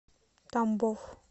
тамбов